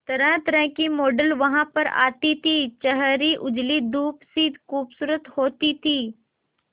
तरहतरह की मॉडल वहां पर आती थी छरहरी उजली दूध सी खूबसूरत होती थी